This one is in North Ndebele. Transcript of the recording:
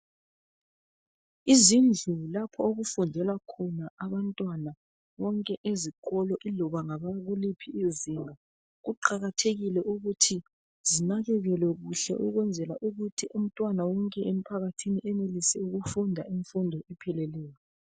Izindlu lapho okufundelwa khona abantwana bonke ezikolo ilobangabokuliphi izinga. Kuqakathekile ukuthi zinakekelwe kuhle ukwenzela ukuthi umntwana wonke emphakathini enelise ukufunda imfundo epheleleyo.